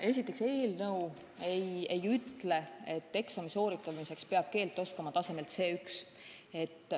Esiteks, eelnõu ei ütle, et eksami sooritamiseks peab keelt oskama tasemel C1.